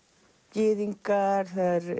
gyðingar